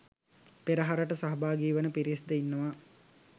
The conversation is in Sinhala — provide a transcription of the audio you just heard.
පෙරහරට සහභාගී වන පිරිස් ද ඉන්නවා